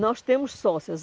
Nós temos sócias.